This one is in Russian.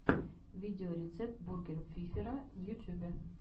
видеорецепт бургер фифера в ютубе